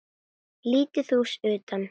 Lítið hús utan.